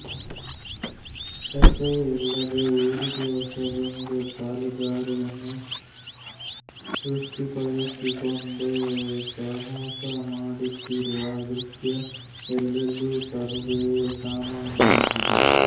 ರಸ್ತೆಯೇ ಇಲ್ಲದ ಊರಿಗೆ ಹೊಸದೊಂದು ಕಾಲುದಾರಿಯನ್ನು ಸೃಷ್ಠಿಸಿಕೊಂಡು ಸಾಹಸ ಮಾಡುತ್ತಿರುವ ದೃಶ್ಯ ಎಲ್ಲೆಲ್ಲೂ ಸರ್ವೇ ಸಾಮಾನ್ಯವಾಗಿದೆ